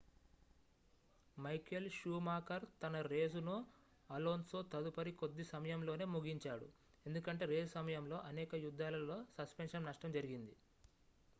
Michael Schumacher తన రేసును Alonso తదుపరి కొద్ది సమయంలోనే ముగించాడు ఎందుకంటే రేసు సమయంలో అనేక యుద్ధాలలో సస్పెన్షన్ నష్టం జరిగింది